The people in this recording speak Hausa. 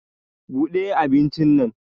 Bude abincin nan.